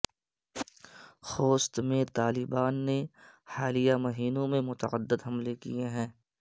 خوست میں طالبان نے حالیہ مہینوں میں متعدد حملے کیے ہیں